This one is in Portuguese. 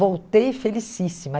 Voltei felicíssima.